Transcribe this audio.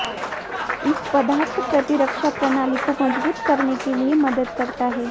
इस पदार्थ प्रतिरक्षा प्रणाली को मजबूत करने के लिए मदद करता है